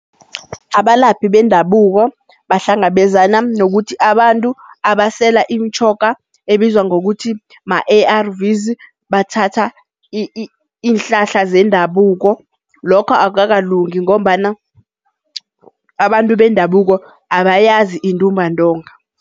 Abalaphi bendabuko bahlangabezana nokuthi abantu abasela imitjhoga ebizwa ngokuthi ma-A_R_Vs bathatha iinhlahla zendabuko lokho akukakalungi ngombana abantu bendabuko abayazi intumbantonga.